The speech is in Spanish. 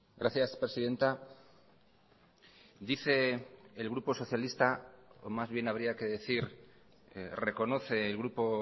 gracias presidenta dice el grupo socialista o más bien habría que decir reconoce el grupo